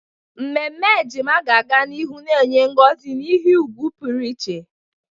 Ememe ejima ga-aga n'ihu na-enye ngozi na ihe ùgwù pụrụ iche.